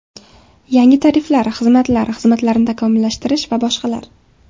Yangi tariflar, xizmatlar, xizmatlarni takomillashtirish va boshqalar!